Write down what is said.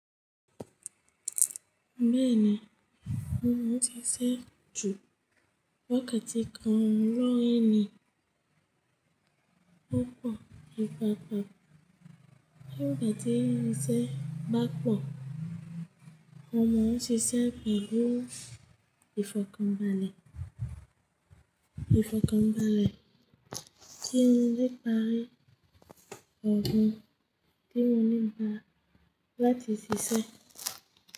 Bẹ́ẹ̀ni, mo mọ ṣíṣẹ́ jù wákàtí kan lọ́ ẹ̀ni opọ̀. Ipapa ngbà tí iṣẹ́ bá pọ̀, mo mọ ṣíṣẹ́ pelu ifokanbale ìfọ̀kànbalẹ̀ tí mo ní ìpàrí ọ̀gbọ́n tí mo ní ìgbà láti ṣiṣẹ́